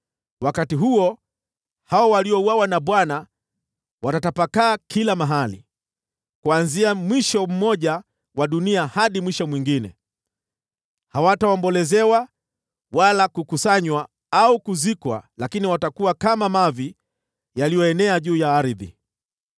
Wakati huo, hao waliouawa na Bwana watatapakaa kila mahali, kuanzia mwisho mmoja wa dunia hadi mwisho mwingine. Hawataombolezewa wala kukusanywa au kuzikwa, lakini watakuwa kama mavi yaliyoenea juu ya ardhi.